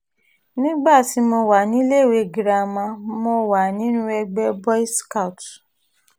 nígbà tí mo wà níléèwé girama mo wà nínú ẹgbẹ́ boys scout